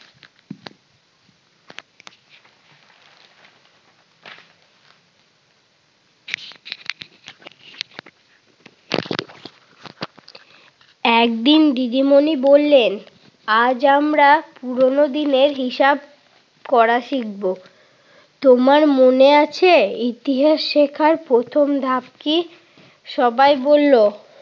একদিন দিদিমণি বললেন আজ আমরা পুরোনো দিনের হিসাব করা শিখব। তোমার মনে আছে ইতিহাস শিখার প্রথম ধাপ কি? সবাই বলল,